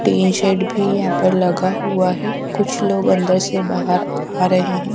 Tin shed भी यहां पर लगा हुआ है कुछ लोग अंदर से बाहर आ रहे है।